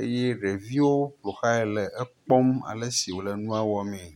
eye ɖeviwo ƒo xlãe le ekpɔm ale si wòle nua wɔmee.